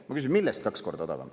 Ma küsin, millest kaks korda odavam.